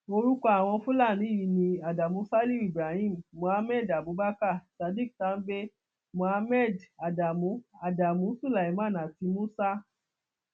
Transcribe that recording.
orúkọ àwọn fúlàní yìí ni adamu saliu ibrahim muhammed abubakar sadiq tambay muhammed adamu adamu sulaiman àti musa